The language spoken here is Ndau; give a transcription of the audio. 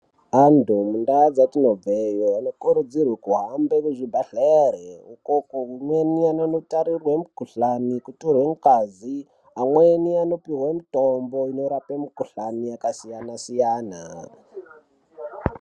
Antu muntaa dzatinobveyo anokurudzirwe kuhambe kuzvibhedhlere uko amweni anonotarirwe mikhuhlani, kutorwe ngazi , amweni anopihwe mitombo inorape mikhuhlani yakasiyana-siyana.